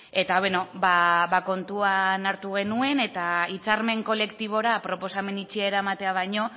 eta beno kontuan hartu genuen eta hitzarmen kolektibora proposamen itxia eramatea baino